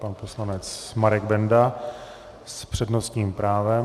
Pan poslanec Marek Benda s přednostním právem.